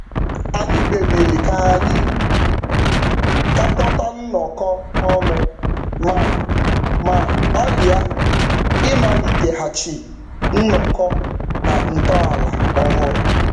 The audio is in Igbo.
Anyị kpebiri ka anyị gakọta nnọkọ ọnụ ma ma gbalịa ịmaliteghachi njikọ na ntọala ọhụrụ.